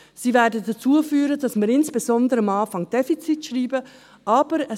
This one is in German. Sie werden dazu führen, dass wir, insbesondere am Anfang, Defizite schreiben werden.